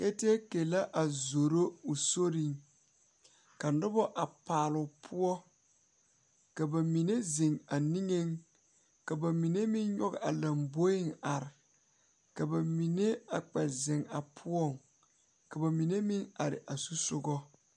Bibiiri ne Nenbɛre la zeŋ ka ba de ba nuure tuŋ eŋ laa poɔ ka bondire be a laa poɔ a Nenbɛre ne a bibiiri mine taa teɛ ka bamine meŋ de ba nuure a tuŋ eŋ a laa poɔ.